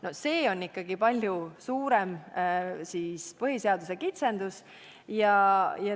No see on ikkagi palju suurem põhiseaduse kitsendus.